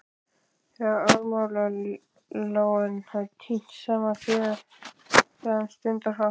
Þegar aðmírállinn hafði tínt saman féð sagði hann stundarhátt